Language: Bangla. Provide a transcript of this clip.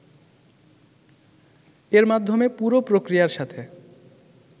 এর মাধ্যমে পুরো প্রক্রিয়ার সাথে